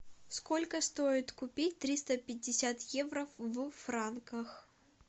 сколько стоит купить триста пятьдесят евро в франках